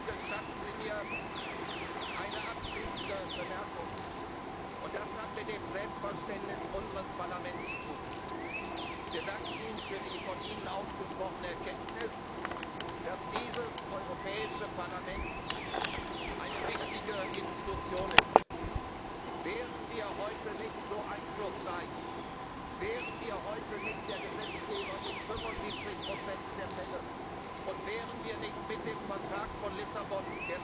Gestatten Sie mir eine abschließende Bemerkung, die mit dem Selbstverständnis unseres Parlaments zu tun hat Wir danken Ihnen für die von Ihnen ausgesprochene Erkenntnis, dass dieses Europäische Parlament eine wichtige Institution ist. Wären wir heute nicht so einflussreich, wären wir heute nicht in 75 Prozent der Fälle der Gesetzgeber, und wären wir nicht mit dem Vertrag von Lissabon